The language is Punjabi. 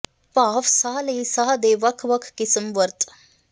ਭਾਫ਼ ਸਾਹ ਲਈ ਸਾਹ ਦੇ ਵੱਖ ਵੱਖ ਕਿਸਮ ਵਰਤ